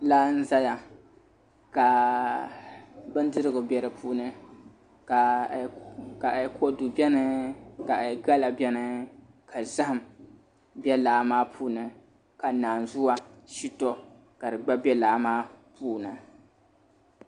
Laa n ʒɛya ka bindirigu bɛ di puuni kodu bɛni ka gala bɛni ka zaham bɛ laa maa puuni ka naanzuwa shito ka di gba bɛ laa maa puuni